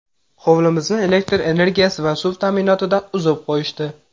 Hovlimizni elektr energiyasi va suv ta’minotidan uzib qo‘yishdi.